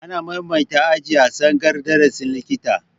Ana maimaita aji a tsangayar darasin likita